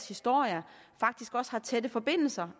historie faktisk også har tætte forbindelser